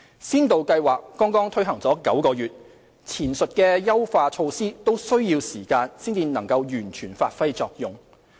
先導計劃剛推行了9個月，前述的優化措施都需要時間才能完全發揮作用。